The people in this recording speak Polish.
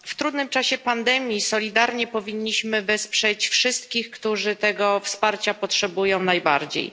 W trudnym czasie pandemii solidarnie powinniśmy wesprzeć wszystkich, którzy tego wsparcia potrzebują najbardziej.